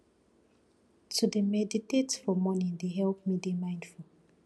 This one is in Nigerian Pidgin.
to dey meditate for morning dey help me dey mindful